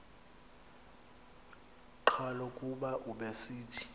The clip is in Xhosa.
qhalo kuba ubesithi